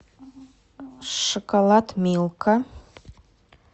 шоколад милка